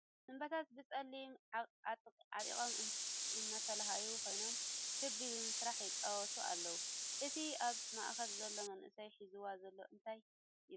ኣቦታት በፀለኦም ዓጢቆም እናተለሃዩ ኮይኖም ክቢ ብምስራሕ ይፃወቱ ኣለዉ ። እቲ ኣብ ማእከል ዘሎ መንእሰይ ሒዝዋ ዘሎ እንታይ ይባሃል ?